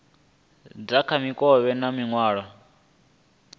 dza kha mikovhe na nzwalelo